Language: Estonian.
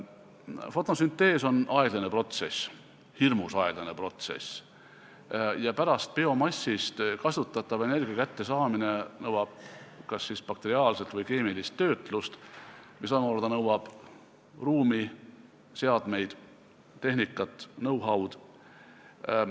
Fotosüntees on aeglane protsess, hirmus aeglane protsess ja biomassist kasutatava energia kättesaamine nõuab pärast kas bakteriaalset või keemilist töötlust, mis omakorda nõuab ruumi, seadmeid, tehnikat, know-how'd.